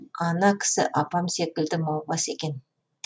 ана кісі апам секілді маубас екен